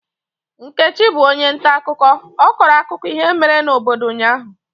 Nkechi bụ onye ntaakụkọ, ọ kọrọ akụkọ ihe mere n'obodo ụnyahụ.